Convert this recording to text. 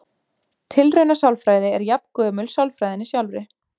Tilraunasálfræði er jafngömul sálfræðinni sjálfri.